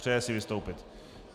Přeje si vystoupit.